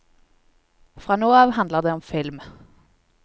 Fra nå av handler det om film.